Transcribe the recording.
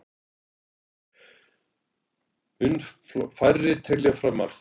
Mun færri telja fram arð